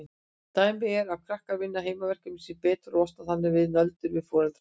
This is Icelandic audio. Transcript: Dæmi er ef krakkar vinna heimaverkefnin sín betur og losna þannig við nöldur foreldra sinna.